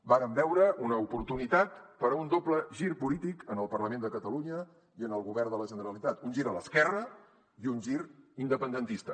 vàrem veure una oportunitat per a un doble gir polític en el parlament de catalunya i en el govern de la generalitat un gir a l’esquerra i un gir independentista